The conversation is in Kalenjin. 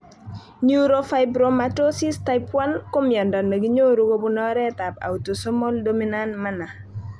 Neurofibromatosis type 1 ko miondo ne kinyoru kobun oret ab autosomal dominant manner